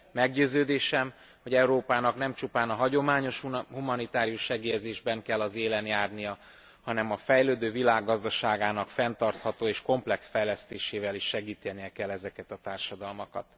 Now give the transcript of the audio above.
Meggyőződésem, hogy Európának nem csupán a hagyományos humanitárius segélyezésben kell az élen járnia, hanem a fejlődő világ gazdaságának fenntartható és komplex fejlesztésével is segítenie kell ezeket a társadalmakat.